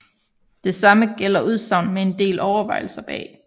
Det samme gælder udsagn med en del overvejelser bag